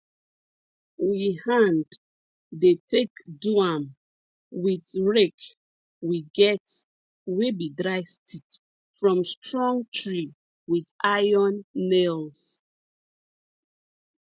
we hand dey take do am with rake we get wey be dry stick from strong tree with iron nails